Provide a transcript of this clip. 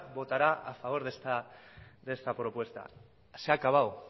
votará a favor de esta propuesta se ha acabado